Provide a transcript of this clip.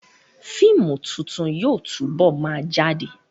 Fíìmù tuntun yóò túbọ̀ ma jáde